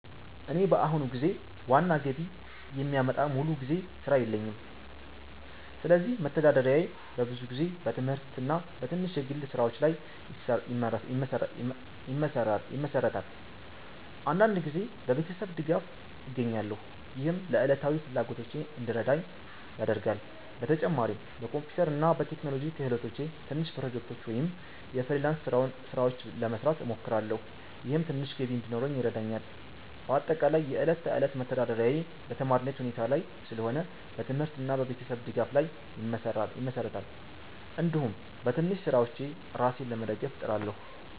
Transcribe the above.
እኔ በአሁኑ ጊዜ ዋና ገቢ የሚያመጣ ሙሉ ጊዜ ሥራ የለኝም፣ ስለዚህ መተዳደሪያዬ በብዙ ጊዜ በትምህርት እና በትንሽ የግል ስራዎች ላይ ይመሠራል። አንዳንድ ጊዜ በቤተሰብ ድጋፍ እገኛለሁ፣ ይህም ለዕለታዊ ፍላጎቶቼ እንዲረዳኝ ያደርጋል። በተጨማሪም በኮምፒውተር እና በቴክኖሎጂ ክህሎቶቼ ትንሽ ፕሮጀክቶች ወይም የፍሪላንስ ስራዎች ለመስራት እሞክራለሁ፣ ይህም ትንሽ ገቢ እንዲኖረኝ ይረዳኛል። በአጠቃላይ የዕለት ተዕለት መተዳደሪያዬ በተማሪነት ሁኔታ ላይ ስለሆነ በትምህርት እና በቤተሰብ ድጋፍ ላይ ይመሠራል፣ እንዲሁም በትንሽ ስራዎች ራሴን ለመደገፍ እጥራለሁ።